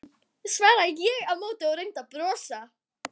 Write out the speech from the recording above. svaraði ég á móti og reyndi að brosa.